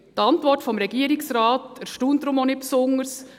Die Antwort des Regierungsrates erstaunt deshalb auch nicht besonders.